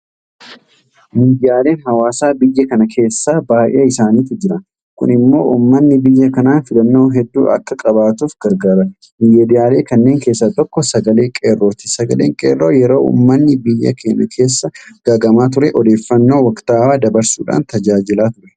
Miidiyaaleen hawaasaa biyya kana keessa baay'ee isaaniitu jira. Kun immoo uummanni biyya kanaa filannoo hedduu akka qabaatuuf gargaara. Miidiyaalee kanneen keessaa tokko Sagalee qeerrooti. Sagaleen qeerroo yeroo uummanni biyya kanaa gaaga'amaa ture Odeeffannaa waktaawaa dabarsuudhaan tajaajilaa ture.